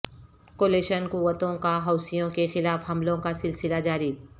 coalition قوتوں کا حوثیوں کے خلاف حملوں کا سلسلہ جاری